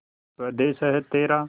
स्वदेस है तेरा